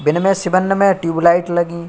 बिन मे शिब्बन में ट्यूबलाईट लगीं --